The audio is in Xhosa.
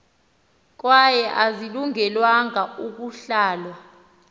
kwaye azilungelanga ukuhlalwa